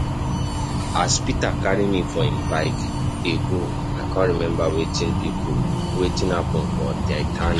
As Peter carry me for im bike dey go I come remember wetin happen for titanic.